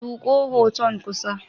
Zuƙo hoton kusa.